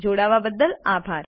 જોડાવા બદ્દલ આભાર